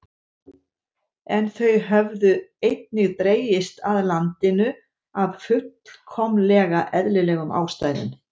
En þau höfðu einnig dregist að landinu af fullkomlega eðlilegum ástæðum.